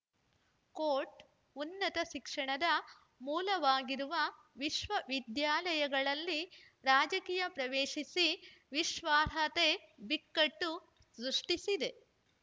coat ಉನ್ನತ ಶಿಕ್ಷಣದ ಮೂಲವಾಗಿರುವ ವಿಶ್ವವಿದ್ಯಾಲಯಗಳಲ್ಲಿ ರಾಜಕೀಯ ಪ್ರವೇಶಿಸಿ ವಿಶ್ವಾರ್ಹಾತೆ ಬಿಕ್ಕಟ್ಟು ಸೃಷ್ಟಿಸಿದೆ